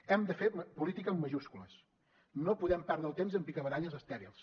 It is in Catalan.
hem de fer política amb majúscules no podem perdre el temps en picabaralles estèrils